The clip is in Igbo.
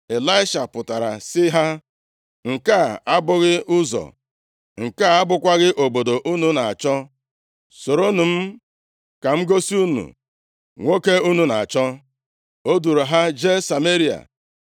Ịlaisha pụtara sị ha, “Nke a abụghị ụzọ, nke a abụkwaghị obodo unu na-achọ. Soronụ m, ka m gosi unu nwoke unu na-achọ.” O duuru ha jee Sameria.